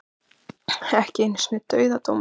Ekki einu sinni dauðadómur.